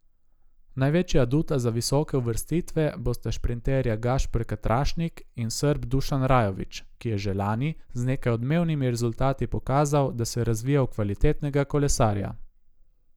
Največja aduta za visoke uvrstitve bosta šprinterja Gašper Katrašnik in Srb Dušan Rajović, ki je že lani z nekaj odmevnimi rezultati pokazal, da se razvija v kvalitetnega kolesarja.